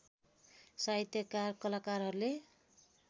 साहित्यकार कलाकारहरूले